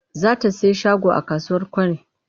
Za ta sayi shago a kasuwar Kwari.